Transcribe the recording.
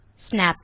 snap